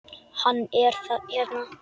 Hann er hérna.